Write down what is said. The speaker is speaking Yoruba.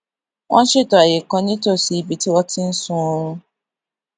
wón ṣètò àyè kan nítòsí ibi tí wón ti ń sun ooru